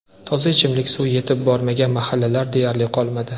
Toza ichimlik suvi yetib bormagan mahallalar deyarli qolmadi.